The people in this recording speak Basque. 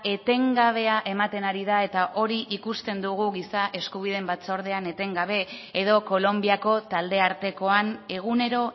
etengabea ematen ari da eta hori ikusten dugu giza eskubideen batzordean etengabe edo kolonbiako taldeartekoan egunero